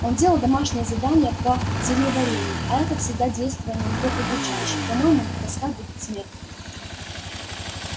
он делал домашнее задание по зельеварению а это всегда действовало на него удручающе по-моему тоска будет смертная